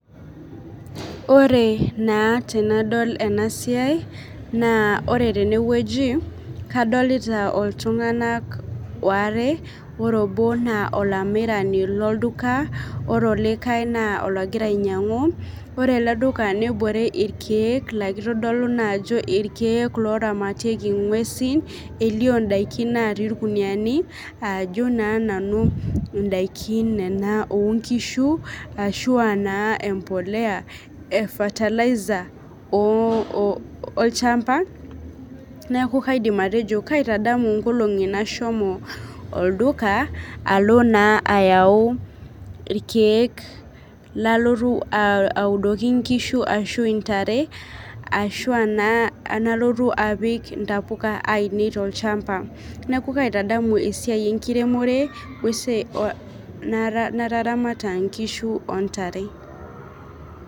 Ore naa tenadol ena siai naa ore tenewueji kadolita iltung'anak aare ore obo naa olamirani lolduka ore olikae naa ologira ainyiang'u ore ele duka nebore irkeek laa kitodolu naa ajo irkeek looramatieki ng'uesi elio indaikin naatii irkuniyiani ajo naa nanu ndaikin nena oonkishu ashu aa naa embolea e fertilizer olchamba. Neeku kaidim atejo kaitadamu nkolong'i nashomo olduka alo naa ayau irkeek lalotu audoki nkishu ashu ntare ashu enaa enalotu apik ntapuka ainei tolchamba, neeku kaitadamu esiai enkiremore o esiai nataramata nkishu o ntare.